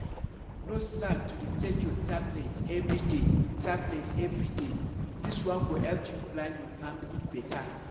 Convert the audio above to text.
no slack to dey take your tablet everyday tablet everyday this one go help you plan your family better.